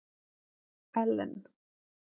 Ellen